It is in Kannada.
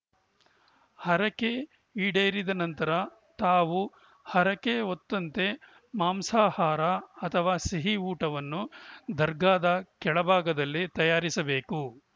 ಹರಕೆ ಈಡೇರಿದ ನಂತರ ತಾವು ಹರಕೆ ಹೊತ್ತಂತೆ ಮಾಂಸಾಹಾರ ಅಥವಾ ಸಿಹಿ ಊಟವನ್ನು ದರ್ಗಾದ ಕೆಳಭಾಗದಲ್ಲಿ ತಯಾರಿಸಬೇಕು